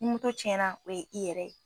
Ni moto cɛna na o ye i yɛrɛ ye